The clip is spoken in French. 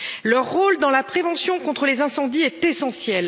leur rôle dans la prévention contre les incendies est essentiel.